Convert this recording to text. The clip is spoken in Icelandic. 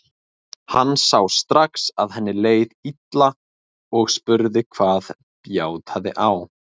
Hann sá strax að henni leið illa og spurði hvað bjátaði á.